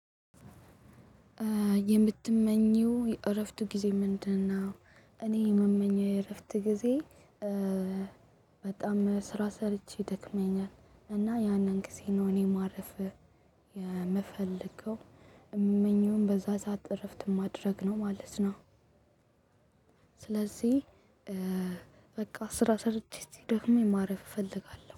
የምትመኚው የእረፍት ጊዜ ምንድነው? እኔ የምመኘው የእረፍት ጊዜ በጣም ስራ ሰርቼ ደክመኛል እና ያንን ጊዜ ነው እኔ ማረፍ የምፈልገው የምመኘውን በዛ ሰዓት እረፍት ማድረግ ነው ማለት ነው ስለዚህ በቃ ስራ ሰርቼ እስቲ ደክሞኝ ማረፍ እፈልጋለሁ።